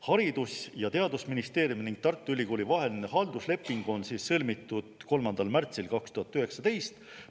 Haridus- ja Teadusministeeriumi ning Tartu Ülikooli vaheline haldusleping on sõlmitud 3. märtsil 2019.